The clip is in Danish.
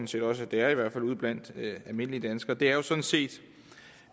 set også det er altså ude blandt almindelige danskere er jo sådan set